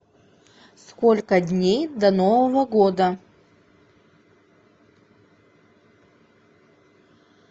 сколько дней до нового года